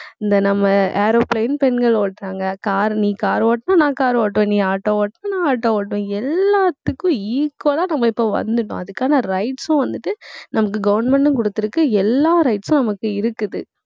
இந்த நம்ம aeroplane பெண்கள் ஓட்டுறாங்க. car நீ car ஓட்டினா நான் car ஓட்டணும். நீ auto ஓட்டினா நான் auto ஓட்டுவேன். எல்லாத்துக்கும் equal ஆ நம்ம இப்ப வந்திட்டோம் அதுக்கான rights உம் வந்துட்டு நமக்கு government ம் கொடுத்திருக்கு. எல்லா rights உம் நமக்கு இருக்குது